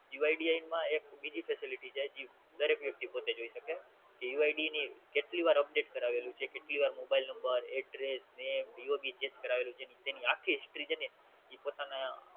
UID માં એક બીજી Facility છે જે દરેક વ્યક્તિ પોતે જોઈ શકે કે UID ની કેટલીવાર Update કરાવેલું છે કેટલી વાર Mobile number address name DOB check કરાવેલું છે તેની આખ્ખી History ને ઈ પોતાના